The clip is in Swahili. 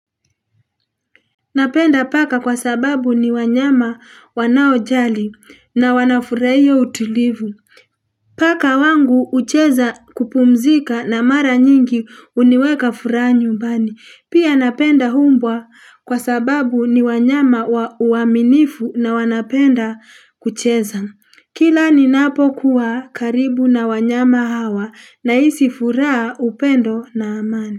Napenda paka kwa sababu ni wanyama wanaojali na wanafuraia utulivu. Paka wangu ucheza kupumzika na mara nyingi uniweka furaha nyumbani. Pia napenda umbwa kwa sababu ni wanyama uaminifu na wanapenda kucheza. Kila ni napokuwa karibu na wanyama hawa nahisi furaha upendo na amani.